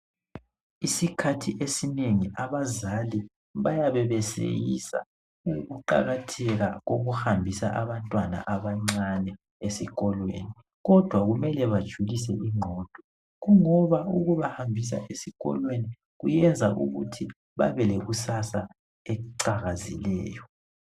Isikhathi esinengi abazali bayabe beseyisa ukuqakatheka kokuhambisa abantwana abancane esikolweni. Kodwa kumele bajulse ingqondo, kungoba ukuba hambisa esikolweni, kubenza, babe lekusasa eliqhakazekileyo.